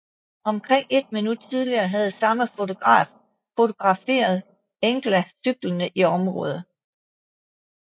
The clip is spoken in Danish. Omkring et minut tidligere havde samme fotograf fotograferet Engla cyklende i området